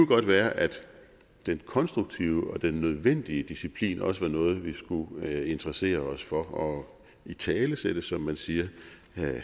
godt være at den konstruktive og den nødvendige disciplin også er noget som vi skulle interessere os for og italesætte som man siger